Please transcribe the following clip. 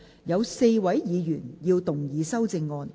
有4位議員要動議修正案。